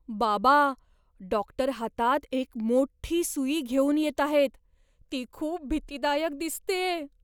बाबा, डॉक्टर हातात एक मोठी सुई घेऊन येत आहेत. ती खूप भीतीदायक दिसतेय.